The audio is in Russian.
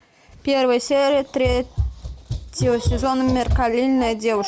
первая серия третьего сезона меркантильная девушка